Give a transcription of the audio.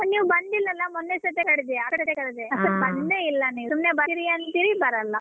ನೀವ್ ಬಂದಿಲ್ಲ ಅಲ್ಲ ಮೊನ್ನೆ ಸಹಿತ ಕರ್ದೆ ಸಹಿತ ಕರ್ದೆ ಬಂದೆ ನೀವು ಸುಮ್ನೆ ಬರ್ತೀನಿ ಅಂತೀರಿ ಬರಲ್ಲ.